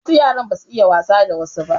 Wasu yara ba su iya yin wasa da wasu ba.